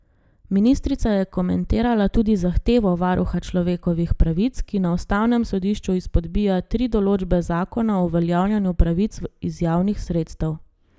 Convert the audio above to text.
Ministrica je komentirala tudi zahtevo varuha človekovih pravic, ki na ustavnem sodišču izpodbija tri določbe zakona o uveljavljanju pravic iz javnih sredstev.